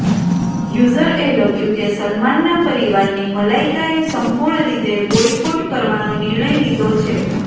user એ લખ્યું કે સલમાનના પરિવારની મલાઈકા એ સંપૂર્ણ રીતે બોયકોટ કરવાનો નિર્ણય લીધો છે